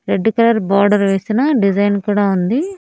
Red colour border వేసిన design కూడా ఉంది.